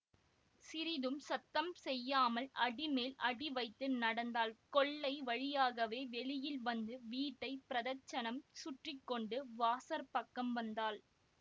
சிறிதும் சத்தம் செய்யாமல் அடிமேல் அடி வைத்து நடந்தாள் கொல்லை வழியாகவே வெளியில் வந்து வீட்டை பிரதட்சணம் சுற்றி கொண்டு வாசற்பக்கம் வந்தாள்